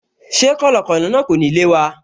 Ṣé kọ̀lọ̀kọ̀lọ̀ náà kò ní lé wa?